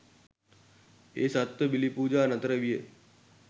ඒ සත්ව බිලි පූජා නතර විය